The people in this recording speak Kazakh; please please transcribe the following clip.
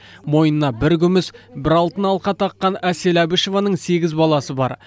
мойнына бір күміс бір алтын алқа таққан әсел әбішеванің сегіз баласы бар